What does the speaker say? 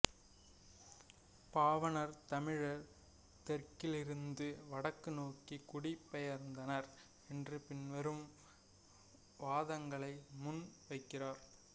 பாவாணர் தமிழர் தெற்கிலிருந்து வடக்கு நோக்கி குடி பெயர்ந்தனர் என்று பின்வரும் வாதங்களை முன் வைக்கிறார்